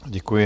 Děkuji.